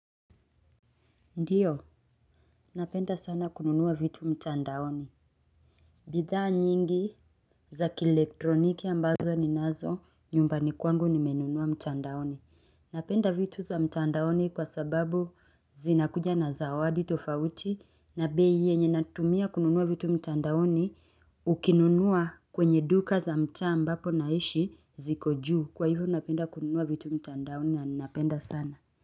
Ndio, napenda sana kununua vitu mtandaoni bidhaa nyingi za kielektroniki ambazo ninazo nyumbani kwangu nimenunua mtandaoni. Napenda vitu za mtandaoni kwa sababu zinakuja na zawadi tofauti na bei yenye natumia kununua vitu mtandaoni ukinunua kwenye duka za mtaa ambapo naishi ziko juu. Kwa hivyo napenda kununua vitu mtandaoni na ninapenda sana.